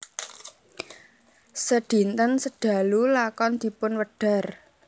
Sedinten sedalu lakon dipunwedhar